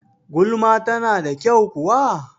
Gulma ta na da kyau kuwa?